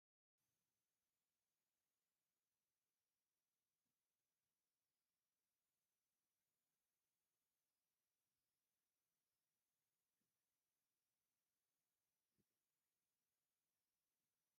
ኣብልዕሊ ኤቲኤም ማሽን ኣይኮነን ብቐትራ ብለይቲ ገንዘብ ይለኣኽ እዩ ዝብል መፋለጢ ይርአ ኣሎ፡፡ ናይዚ ፅሑፍ መልእኽቲ ወይ ርድኢት እንታይ እዩ?